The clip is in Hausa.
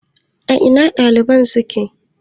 A ina ɗaliban suke?